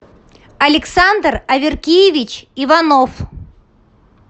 александр аверкиевич иванов